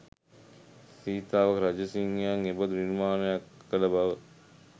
සීතාවක රාජසිංහයන් එබඳු නිර්මාණයක් කළ බව